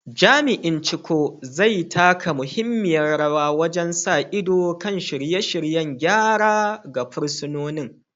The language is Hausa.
Jami’in Chukwu, zai taka muhimmiyar rawa wajen sa ido kan shirye-shiryen gyara ga fursunoni.